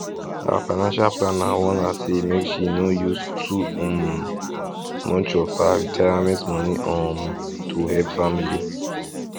her financial planner warn her say make she no use too um much of her retirement money um to help family